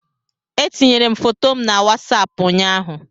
Etinyere m foto m na wasapụ ụnyaahụ